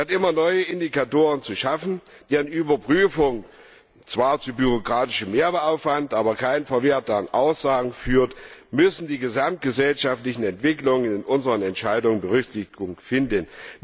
Statt immer neue Indikatoren zu schaffen, deren Überprüfung zwar zu bürokratischem Mehraufwand, aber keinen verwertbaren Aussagen führt, müssen die gesamtgesellschaftlichen Entwicklungen in unseren Entscheidungen Berücksichtigung finden.